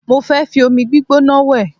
Mo fẹ́ fi omi gbígbóná wẹ̀